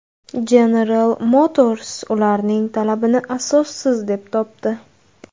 General Motors ularning talabini asossiz deb topdi.